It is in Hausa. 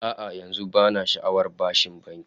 A'a, yanzu bana sha'awar bashin banki